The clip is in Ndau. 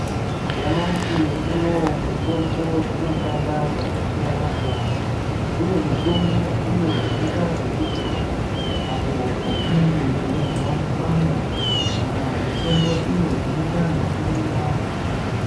Nyamashi unouwu mutombo dzinoshanda zvakasiyana siyana. Kune mutombo uyo unoita zvekudzodzwa apo patinenge teizwa kupanda kana mutombo iyo inoita zvekumwiwa.